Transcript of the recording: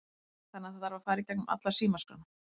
Guðjón: Þannig að það þarf að fara í gegnum alla símaskrána?